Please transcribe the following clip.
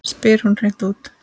spyr hún hreint út.